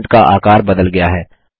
font का आकार बदल गया है